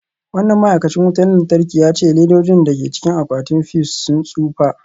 Wannan ma'aikacin wutar lantarki ya ce ledojin da ke cikin akwatin fuse sun tsufa.